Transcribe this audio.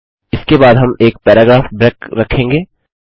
इसके बाद हम एक पैराग्राफ ब्रेक रखेंगे